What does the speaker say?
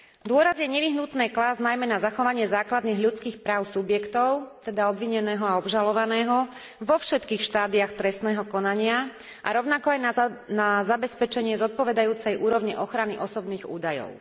Dôraz je nevyhnutné klásť najmä na zachovanie základných ľudských práv subjektov, teda obvineného a obžalovaného, vo všetkých štádiách trestného konania a rovnako aj na zabezpečenie zodpovedajúcej úrovne ochrany osobných údajov.